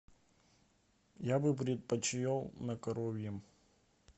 я бы предпочел на коровьем